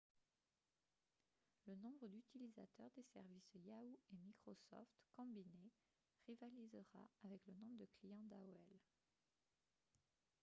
le nombre d'utilisateurs des services yahoo et microsoft combinés rivalisera avec le nombre de clients d'aol